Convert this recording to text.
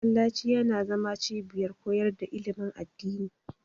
Masallaci yana zama cibiyar koyar da ilimin addini.